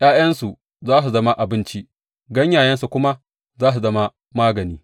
’Ya’yansu za su zama abinci, ganyayensu kuma za su zama magani.